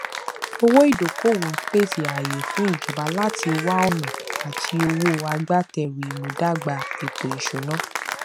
owó ìdókòówò ń pèsè àáyè fún ìjọba láti wá ọnà àti owó agbátẹrù ìmúdàgbà ètòìsúná